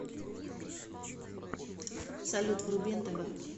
салют вруби нтв